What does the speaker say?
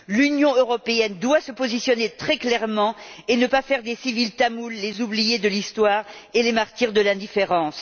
L'Union européenne doit se positionner très clairement et ne pas faire des civils tamouls les oubliés de l'histoire et les martyrs de l'indifférence.